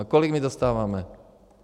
A kolik my dostáváme?